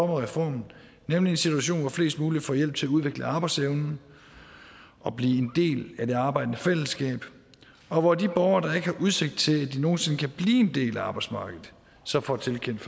reformen nemlig en situation hvor flest mulige får hjælp til at udvikle arbejdsevnen og blive en del af det arbejdende fællesskab og hvor de borgere der ikke har udsigt til at de nogen sinde kan blive en del af arbejdsmarkedet så får tilkendt